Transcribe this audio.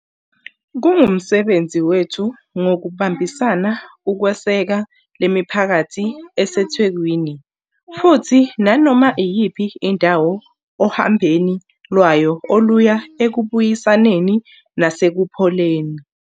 Kungumsebenzi wethu ngokubambisana ukweseka lemiphakathi eseThekwini futhi nanoma iyiphi indawo ohambeni lwayo oluya ekubuyisaneni nasekupholeni.